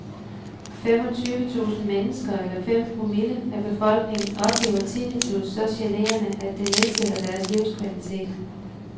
Femogtyvetusind mennesker eller fem promille af befolkningen oplever tinnitus så generende, at det nedsætter deres livskvalitet.